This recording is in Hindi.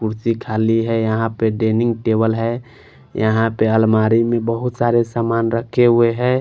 मूर्ति खाली है यहां पर डेनिंग टेबल है यहां पे अलमारी में बहुत सारे सामान रखे हुए हैं।